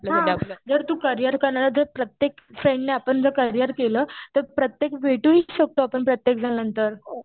हा जर तू करियर करणार तर प्रत्येक फ्रेंडने आपण जर करियर केलं तर प्रत्येक भेटूही शकतो आपण. प्रत्येक जण नंतर.